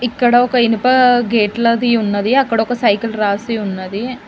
ఇక్కడ ఒక ఇనుప గేట్ల ది ఉన్నది అక్కడ ఒక సైకిల్ రాసి ఉన్నది.